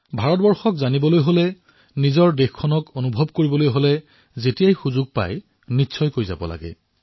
ভাৰতক জনাৰ বাবে ভাৰতক অনুভৱ কৰাৰ বাবে যেতিয়াই সুযোগ পায় তেতিয়াই এইবোৰলৈ যাব লাগে